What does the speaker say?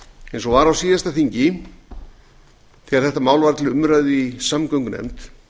eins og var á síðasta þingi þegar þetta mál var til umræðu í samgöngunefnd